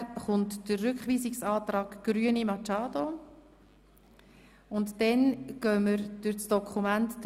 Danach folgt der Rückweisungsantrag Grüne (Machado) und dann gehen wir zur Detailberatung über.